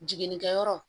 Jiginnikɛyɔrɔ